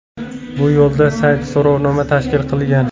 Bu yo‘lda sayt so‘rovnoma tashkil qilgan.